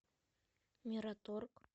мираторг